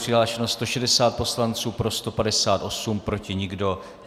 Přihlášeno 160 poslanců, pro 158, proti nikdo.